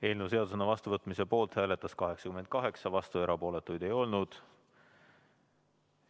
Eelnõu seadusena vastuvõtmise poolt hääletas 88 Riigikogu liiget, vastuolijaid ja erapooletuid ei olnud.